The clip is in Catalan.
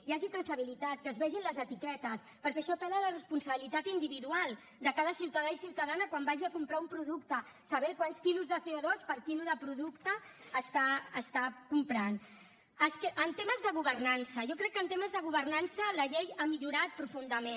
hi hagi traçabilitat que es vegi en les etiquetes perquè això apel·la a la responsabilitat individual de cada ciutadà i ciutadana quan vagi a comprar un producte saber quants quilos de cotemes de governança jo crec que en temes de governança la llei ha millorat profundament